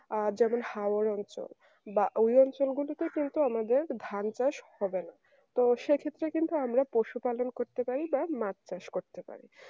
আহ যেমন হাওয়ার অঞ্চল বা ওই গুলিতে কিন্তু আমাদের ধান চাষ হবে না তো সেক্ষেত্রে কিন্তু আমরা পশুপালন করতে পারি বা মাছ চাষ করতে পারি